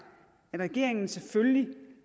at regeringen selvfølgelig